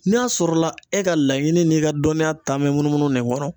N'a sɔrɔla e ka laɲini n'i ka dɔnniya ta mɛ munumunun nin kɔrɔ